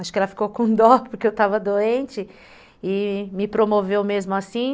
Acho que ela ficou com dó porque eu estava doente e me promoveu mesmo assim.